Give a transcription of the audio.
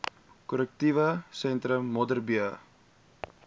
korrektiewe sentrum modderbee